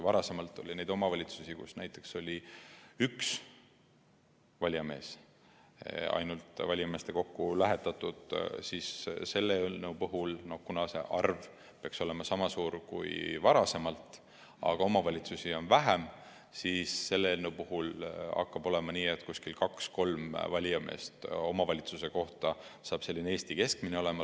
Varem oli neid omavalitsusi, kust näiteks ainult üks valijamees oli valijameeste kokku lähetatud, aga selle eelnõu puhul, kuna see arv peaks olema sama suur kui varem, aga omavalitsusi on vähem, hakkab olema nii, et kaks-kolm valijameest omavalitsuse kohta on selline Eesti keskmine.